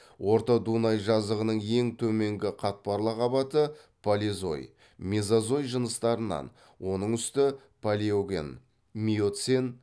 орта дунай жазығының ең төменгі қатпарлы қабаты полезой мезозой жыныстарынан оның үсті палеоген миоцен